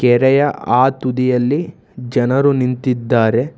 ಕೆರೆಯ ಆ ತುದಿಯಲ್ಲಿ ಜನರು ನಿಂತಿದ್ದಾರೆ.